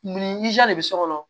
Mun ni de bɛ so kɔnɔ